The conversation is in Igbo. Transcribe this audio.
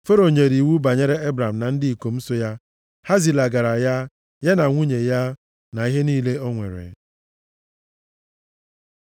Fero nyere iwu banyere Ebram na ndị ikom so ya. Ha zilagara ya, ya na nwunye ya, na ihe niile o nwere.